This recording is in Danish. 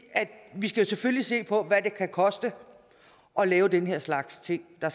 vi skal selvfølgelig se på hvad det kan koste at lave den her slags ting der